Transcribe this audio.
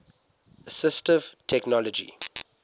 assistive technology